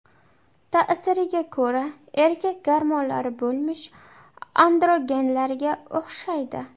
Ta’siriga ko‘ra, erkak gormonlari bo‘lmish androgenlarga o‘xshaydi.